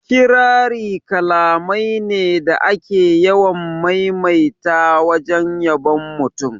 Kirari kalamai ne da ake yawan maimaita wajen yabon mutum